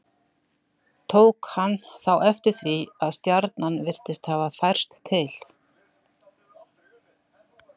tók hann þá eftir því að stjarnan virtist hafa færst til